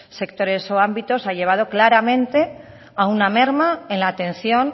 sectores o ámbitos ha llevado claramente a una merma en la atención